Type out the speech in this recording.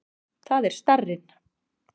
Það er starrinn.